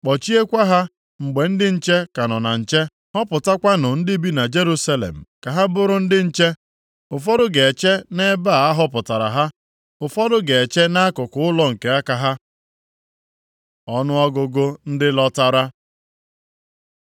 Kpọchiekwa ha mgbe ndị nche ka nọ na nche. Họpụtakwanụ ndị bi na Jerusalem ka ha bụrụ ndị nche. Ụfọdụ ga-eche nʼebe a họpụtara ha, ụfọdụ ga-eche nʼakụkụ ụlọ nke aka ha.” Ọnụọgụgụ ndị lọtara